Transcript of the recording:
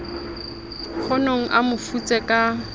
kgonong a mo futse ka